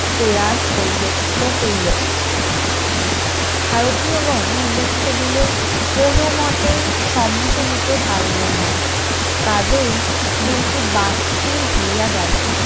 প্রয়াস করিল কৃত হইল ভারতীয় গন উল্লেখিত bill এ কোনমতেই সম্মতি দিতে পারিলেন না কাজেই bill টি বাতিল হইয়া গেল